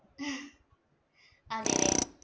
അതേല്ലേ.